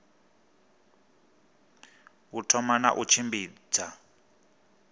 u thoma na u tshimbidza